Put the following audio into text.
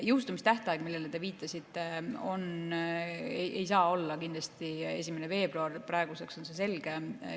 Jõustumistähtaeg, millele te viitasite, ei saa olla kindlasti 1. veebruar, praeguseks on see selge.